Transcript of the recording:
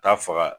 Taa faga